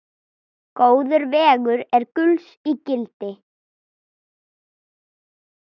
Góður vegur er gulls ígildi.